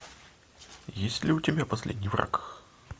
есть ли у тебя последний враг